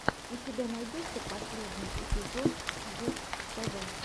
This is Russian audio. у тебя найдется последний эпизод густв